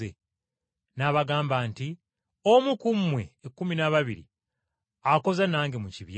N’abagamba nti, “Omu ku mmwe ekkumi n’ababiri, akoza nange mu kibya.